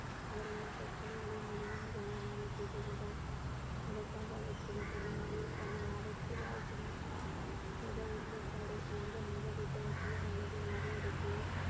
அவர்களின் பிரச்சனைகளை மிகவும் கவனமாக கேட்டறிந்தார் அதற்காக அவர் சில சமயங்களில் தன்னை ஆபத்தில் ஆழ்த்தினார் மத ஒருமைப்பாடு எந்த மத புத்தகத்தையும் அல்லது மத இடத்தையும்